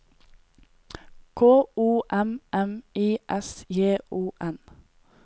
K O M M I S J O N